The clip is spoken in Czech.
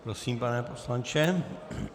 Prosím, pane poslanče.